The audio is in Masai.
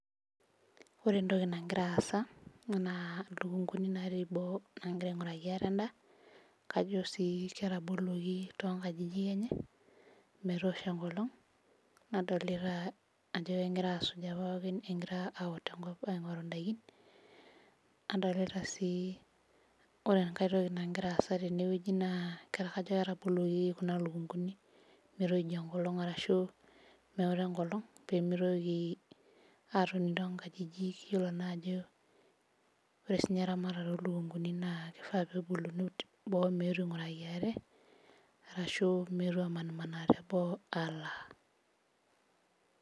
Ore entoki nagira aasa enaa lukunguni natii boo nagira aing'uraki ate endaa kajo sii ketaboluoki tonkajijik enye metosho enkolong nadolita ajo egira asuja pookin egira aut enkop aing'oru indaikin adolita sii ore enkae toki nagira aasa tenewueji naa ketaa kajo ketaboluoki kuna lukunguni metoijo enkolong arashu meota enkolong pemitoki atoni tonkajijik yiolo naa ajo ore sinye eramatata olukunguni naa kifaa peboluni boo meetu aing'uraki ate arashu meetu amanimanaa teboo alaa.